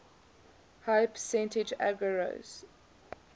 high percentage agarose